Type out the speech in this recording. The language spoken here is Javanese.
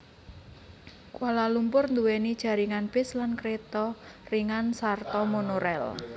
Kuala Lumpur nduwèni jaringan bis lan kereta ringan sarta monorel